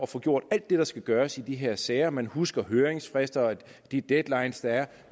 får gjort alt det der skal gøres i de her sager man husker høringsfrister og de deadlines der er